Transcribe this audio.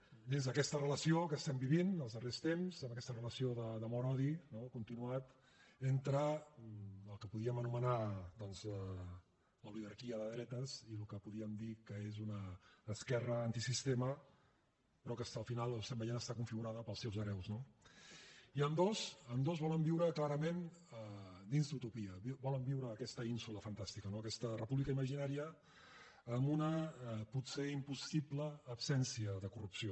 dins d’aquesta relació que estem vivint els darrers temps amb aquesta relació d’amor odi no continuat entre el que podríem anomenar doncs l’oligarquia de dretes i el que podríem dir que és una esquerra antisistema però que al final ho estem veient està configurada pels seus hereus no i ambdós ambdós volen viure clarament dins d’utopia volen viure en aquesta ínsula fantàstica en aquesta república imaginària amb una potser impossible absència de corrupció